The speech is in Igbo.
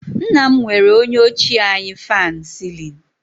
Nna m nwere onye ochie anyị fan celling